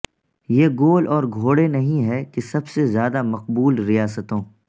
یہ گول اور گھوڑے نہیں ہے کہ سب سے زیادہ مقبول ریاستوں